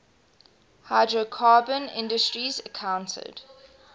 hydrocarbon industries accounted